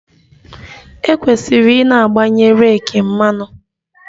E kwesịrị i na-agbanye reeki mmanụ